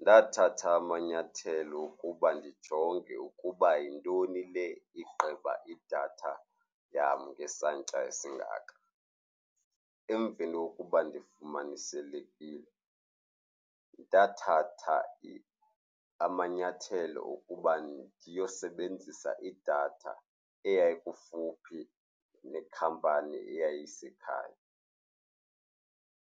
Ndathatha amanyathelo okuba ndijonge ukuba yintoni le igqiba idatha yam ngesantya esingaka. Emveni kokuba ndifumaniselekile, ndathatha amanyathelo okuba ndiyosebenzisa idatha eyayikufuphi nekhampani eyayisekhaya.